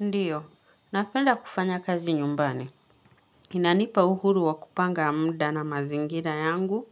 Ndiyo, napenda kufanya kazi nyumbani. Inanipa uhuru wa kupanga muda na mazingira yangu.